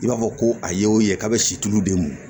I b'a fɔ ko a ye o ye k'a bɛ si tulu de mɔ